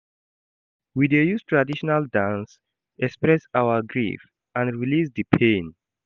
We dey use traditional dances express our grief and release di pain.